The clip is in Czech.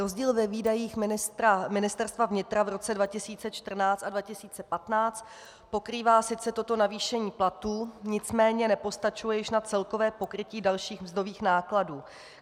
Rozdíl ve výdajích Ministerstva vnitra v roce 2014 a 2015 pokrývá sice toto navýšení platů, nicméně nepostačuje již na celkové pokrytí dalších mzdových nákladů.